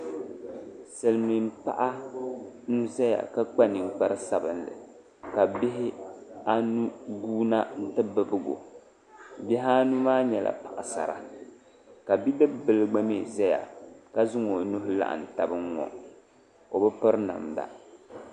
Silmiin paɣa n ʒɛya ka kpa ninkpari sabinli ka bihi anu guuna n ti bibgo bihi anu maa nyɛla paɣasara ka bidib bili gba mii ʒɛya ka zaŋ o nuhi laɣam tabi n ŋɔ o bi piri namda